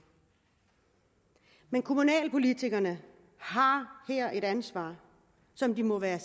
kommunalpolitikerne har her et ansvar som de må være